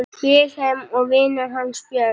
Vilhelm og vinur hans Björn.